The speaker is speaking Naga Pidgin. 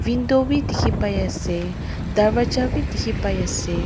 window bi dikhipaiase darvaja bi dikhipaiase.